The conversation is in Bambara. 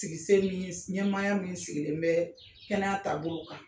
Ɲɛmaaya min sigilen bɛ kɛnɛya taabolo ka.